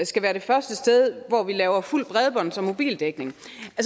skal være det første sted hvor vi laver fuld bredbånds og mobildækning